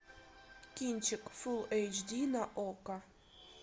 кинчик фулл эйч ди на окко